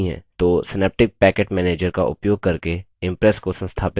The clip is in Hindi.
तो synaptic package manager का उपयोग करके impress को संस्थापित कर सकते हैं